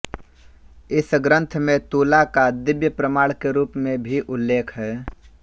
इस ग्रंथ में तुला का दिव्य प्रमाण के रूप में भी उल्लेख हैं